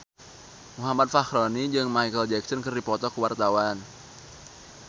Muhammad Fachroni jeung Micheal Jackson keur dipoto ku wartawan